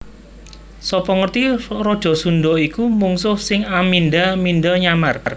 Sapa ngerti raja Sundha iku mungsuh sing amindha mindha nyamar